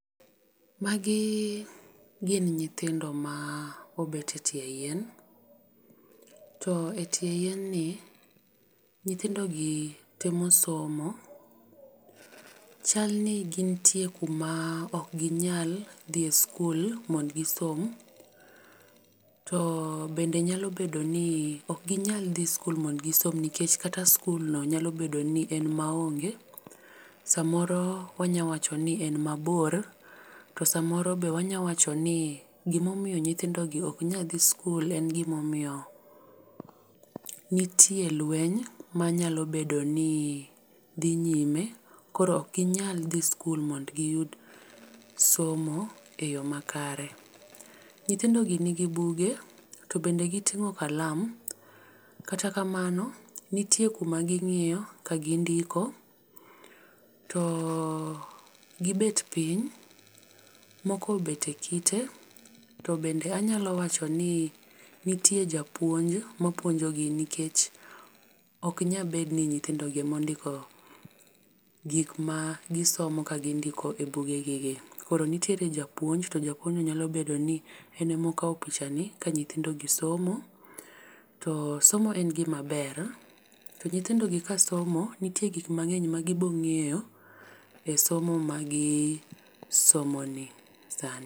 Magi gin nyithindo ma obet etie yien. To etie yien ni nyithindogi temo somo. Chalni gintie kuma ok ginyal dhi e sikul mondo gisom to bende nyalo bedo ni ok ginyal dhi sikul mondo gisom. ok ginyal dhi sikul modo gisom nikech kata sikulno bende nyalo bedo. ni en maonge. Samoro wanyalo wacho ni en mabor, to samoro be wanyalo wacho ni gima omiyo nyithindogi ok nyal dhi sikul en gima omiyo nitie lueny manyalo bedo ni dhi nyime koro ok ginyal dhi sikul mondo giyud somo eyo makare. Nyithindogi nigi buge to bende giting'o kalam. Kata kamano nitie kuma ging'iy to gindiko. Gibet piny moko obet e kitet o bende anyalo wacho ni nitie japuonj mapuonjogi nikech ok nyal bet ni nyithindogi ema ondiko gik magisomo ka gindiko ebuge gigi. Koro nitiere japuonj to japuonjno nyalo bedoni en ema okawo pichani ka nyithindogi somo. To somo en gima ber to nyithindo gi kasomo to nitie gik mang'eny magibiro ng'eyo e somo magis omoni sani.